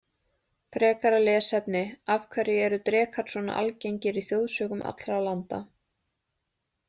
Frekara lesefni Af hverju eru drekar svona algengir í þjóðsögum allra landa?